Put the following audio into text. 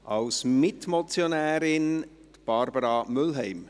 Als Mitmotionärin, Barbara Mühlheim.